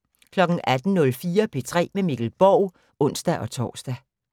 18:04: P3 med Mikkel Borg (ons-tor)